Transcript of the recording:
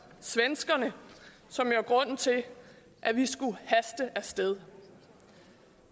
svenskerne som jo er grunden til at vi skulle haste af sted